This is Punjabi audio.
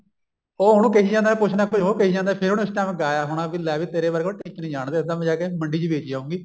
ਉਹ ਹੁਣ ਕਈ ਜਾਂਦਾ ਕੁੱਛ ਨਾ ਕੁੱਛ ਉਹ ਕਹਿ ਜਾਂਦਾ ਫ਼ੇਰ ਉਸ time ਉਹਨੇ ਇਹ ਗਾਇਆ ਹੋਣਾ ਲੈ ਵੀ ਤੇਰੇ ਵਰਗੇ ਨੂੰ ਅਸੀਂ ਟਿੱਚ ਨੀ ਜਾਣਦੇ ਤੇਨੂੰ ਤਾਂ ਜਾਕੇ ਮੈਂ ਮੰਡੀ ਚ ਵੇਚ ਆਉਂਗੀ